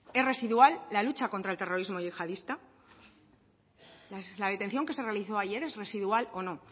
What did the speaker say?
es residual la lucha contra el terrorismo yihadista la detención que se realizó ayer es residual o no